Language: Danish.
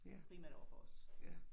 Ja, ja